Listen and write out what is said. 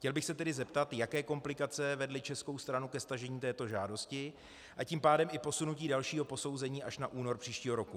Chtěl bych se tedy zeptat, jaké komplikace vedly českou stranu ke stažení této žádosti, a tím pádem i posunutí dalšího posouzení až na únor příštího roku.